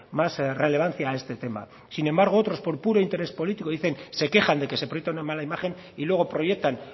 más relevancia a este tema sin embargo otros por puro interés político dicen se quejan de que ese proyecto nos da mala imagen y luego proyectan